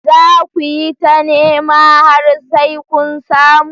Za ku yi ta nema har sai kun samu.